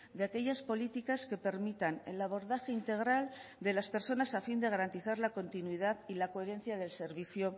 de aquellas políticas que permitan el abordaje integral de las personas a fin de garantizar la continuidad y la coherencia del servicio